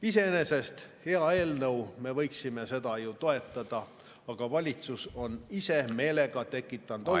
Iseenesest hea eelnõu, me võiksime seda toetada, aga valitsus on ise meelega tekitanud olukorra …